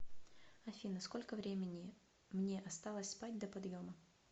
афина сколько времени мне осталось спать до подъема